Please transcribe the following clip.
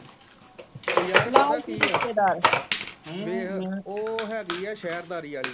ਉਹ ਯਾਰ ਪਤਾ ਕਿ ਆ ਦੇਖ ਉਹ ਹੇਗੀ ਆ ਸਹਿਰਦਾਰੀ ਵਾਲੀ ।